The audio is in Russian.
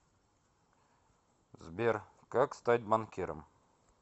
сбер как стать банкиром